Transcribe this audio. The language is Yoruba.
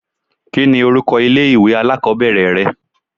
Kí ni orúkọ ilé ìwé alákòbẹ̀rẹ̀ rẹ?